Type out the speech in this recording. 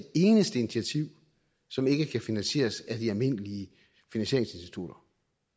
eneste initiativ som ikke kan finansieres af de almindelige finansieringsinstitutter